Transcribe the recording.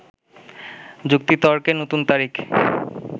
যুক্তিতর্কে নতুন তারিখ